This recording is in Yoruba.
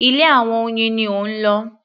Ilé àwọn oyin ni ó ń lọ.